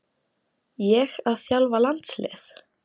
Ég að þjálfa landslið?